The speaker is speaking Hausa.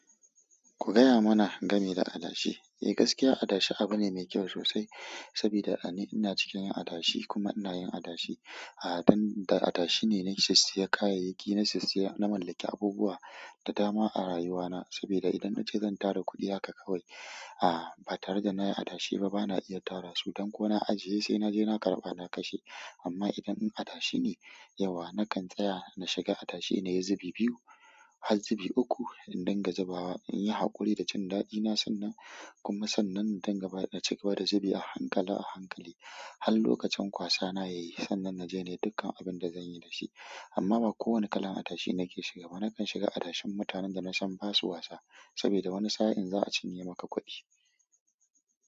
Ku gaya mana gami da adashi. Eh gaskiya adashi abu ne mai kyau sosai sabida a ni ina cikin adashi kuma ina yin adashi. A'a dan da adashi ne na siya kayayyaki na mallaki abubuwa da dama a rayuwa na sabida idan nace zan tara kuɗi haka kawai. A ba tare da nayi adashi ba bana iya tara su. Dan ko na ajiye sai naje na karɓa na kashe. Amma idan adashi ne yauwa nakan tsaya na shiga adashi nayi zubi biyu har zubi uku in dinga zubawa in yi haƙuri da cin daɗi na sannan kuma sannan in gaba in cigaba da zubi a hankala a hankali har lokacin kwasana yayi sannan na je ne dukkan abin da zanyi da shi. Amma ba kowane kalan adashi nake shiga ba. Nakan shiga adashin mutanen da nasan basu wasa sabida wani sa'in za'a cin yema ka kuɗi.